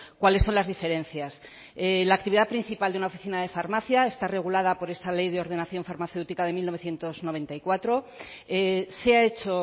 cuáles son las diferencias la actividad principal de una oficina de farmacia está regulada por esa ley de ordenación farmacéutica de mil novecientos noventa y cuatro se ha hecho